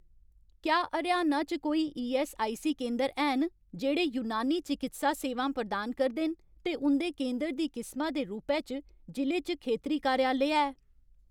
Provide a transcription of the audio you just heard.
क्या हरयाणा च कोई ईऐस्सआईसी केंदर हैन जेह्ड़े यूनानी चकित्सा सेवां प्रदान करदे न ते उं'दे केंदर दी किसमा दे रूपै च जि'ले च खेतरी कार्यालय है ?